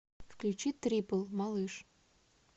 включи трипл малыш